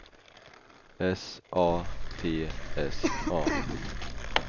S A T S A